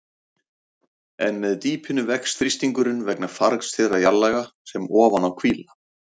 En með dýpinu vex þrýstingurinn vegna fargs þeirra jarðlaga sem ofan á hvíla.